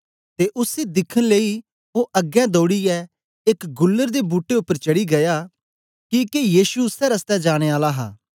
ते उसी दिखन लेई ओ अगें दौडीयै एक गुलर दे बूट्टे उपर चढ़ी गीया किके यीशु उसै रस्ते जाने आला हा